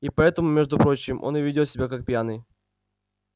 и поэтому между прочим он и ведёт себя как пьяный